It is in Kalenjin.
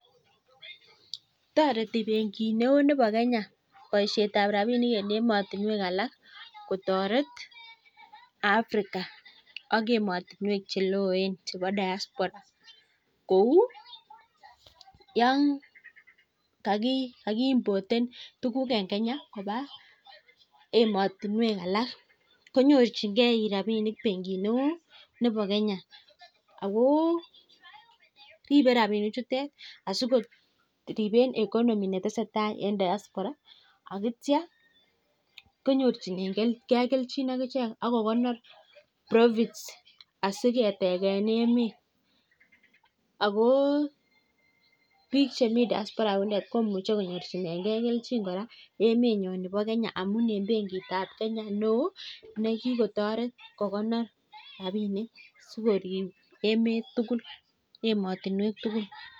Toreti benkitneo nebo kenya boishetab rapinik en emotinwekalak kotoret Africa ak emotinwek cheloen chebo diaspora. kou yon kakiimpten ukuk eng kenya koba emotinwek alak konyorchingei rapinik benkit neo nebo kenya .Ako ripei rapinichutet asikoripen economy netesetai eng diaspora akitia konyorchinegei keljin akichek akokono r profit asiketegen emet ako biik chemi diaspora komuch konyorchinengei keljin akiche kamun emenyo nebo kenya amun en benkitab kenya neo nekikotoret biik kokonor chepkondok sikorip emet, emotinwek tugul,